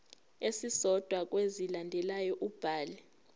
esisodwa kwezilandelayo ubhale